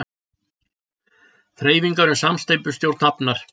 Þreifingar um samsteypustjórn hafnar